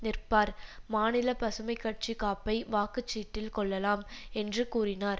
நிற்பார் மாநில பசுமை கட்சி காப்பை வாக்கு சீட்டில் கொள்ளலாம் என்று கூறினார்